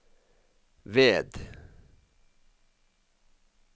ved